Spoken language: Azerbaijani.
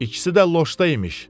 İkisi də loşda imiş.